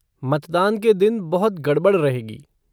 मतदान का दिन बहुत गड़बड़ रहेगी।